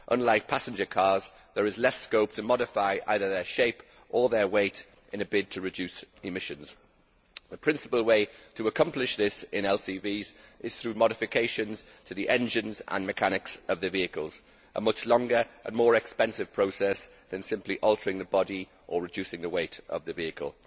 Unlike passenger cars, there is less scope to modify either their shape or their weight in a bid to reduce emissions. The principal way to accomplish this in LCVs is through modification of the engines and mechanics of the vehicles a much longer and more expensive process than simply altering the body or reducing the weight of the vehicle.